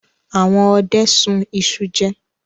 Àwọn ọdẹ sun iṣu jẹ.